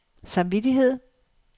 samvittighed